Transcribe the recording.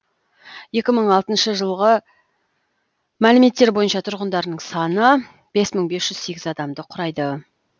екі мың алтыншы жылғы мәліметтер бойынша тұрғындарының саны бес мың бес жүз сегіз адамды құрайды